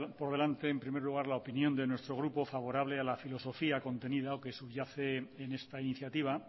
por delante en primer lugar la opinión de nuestro grupo favorable a la filosofía contenida o que subyace en esta iniciativa